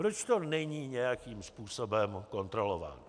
Proč to není nějakým způsobem kontrolováno?